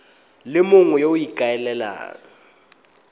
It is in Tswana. le mongwe yo o ikaelelang